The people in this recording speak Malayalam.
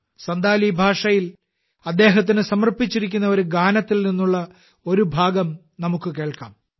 സൻഥാലി ഭാഷയിൽ അദ്ദേഹത്തിന് സമർപ്പിച്ചിരിക്കുന്ന ഒരു ഗാനത്തിൽ നിന്നുള്ള ഒരു ഭാഗം നമുക്ക് കേൾക്കാം